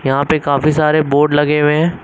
यहां पे काफी सारे बोर्ड लगे हुए हैं।